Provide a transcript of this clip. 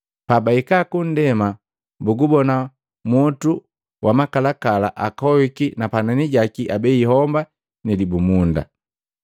Pabahika kundema bugubona mwotu wa makalakala akohiki na panani jaki abei homba ni libumunda.